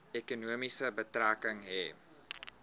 ekonomie betrekking hê